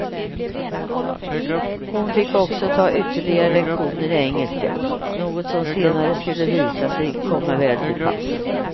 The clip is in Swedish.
Hon fick också ta ytterligare lektioner i engelska, något som senare skulle visa sig komma väl till pass.